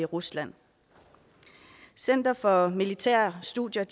rusland center for militære studier